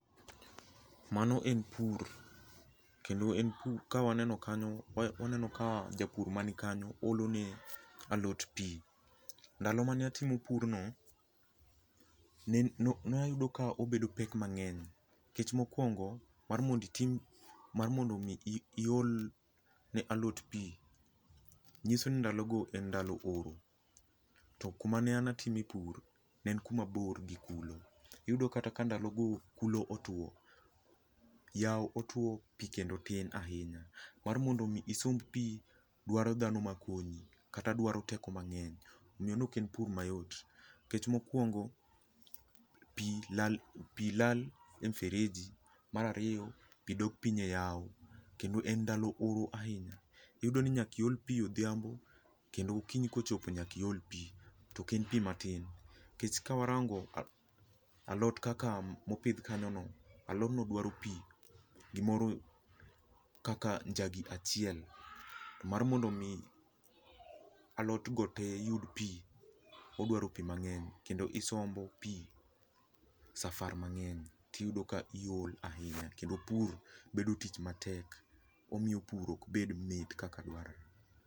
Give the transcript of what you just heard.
Mano en pur kendo en pur ka waneno kanyo, waneno ka japur man kanyo olo ne alot pi. Ndalo mane atimo purno ne ayudo ka obedo pek mang'eny. Nikech mokuongo mar mondo mi iol ne alot pi, nyiso ni ndalo go ne en ndalo oro. To kuma ne an atime pur ne en kuma bor gi kulo. Iyudo ka nkata ka ndalo ngo kulo otuo, yao otuo, pii kendo tin ahinya. Mar mondo mi isomb pi dwaro dhano makonyi kata dwaro teko mang'eny. Nikech mokuongo pi lal e fereji, mar ariyo, pi dok piny eyawo kendo en ndalo oro ahinya. Iyudo ni nyaka iol pi odhiambo kendo okinyi kochopo nyaka iol pi to ok en pi matin nikech kawarango alot kaka mopidh kanyono, alodno dwaro pi, gimoro kaka njagi achiel mar mondo mi alot go te yud pi, odwaro pi mang'eny kendo isombo pi safar mang'eny, to iyudo ka iol ahinya, kendo pur bedo tich matek. Omiyo pur ok bed mit kaka dwarore